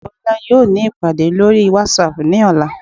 ìyáàfín bolá yọọ ní ipadé lorí watsap ní ọla